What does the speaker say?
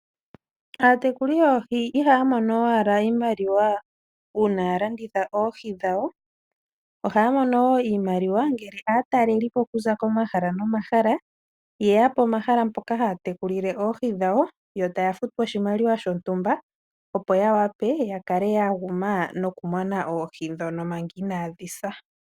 Aatekuli yoohi iha ya mono owala iimaliwa uuna yalanditha oohi dhawo, oha ya mono woo iimaliwa ngele aatelelipo okuza komahala nomahala ye ya pomahala mpoka ha ya tekulile oohi dhawo, yo ta ya futwa oshimaliwa shontumba, opo ya wa pe ya kale yaguma no kumona oohi ndhoka inaadhi sa.